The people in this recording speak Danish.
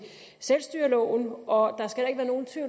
selvstyreloven og